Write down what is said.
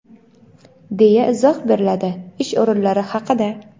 deya izoh beriladi ish o‘rinlari haqida..